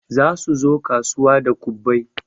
Za suzo kasuwa da kwabbai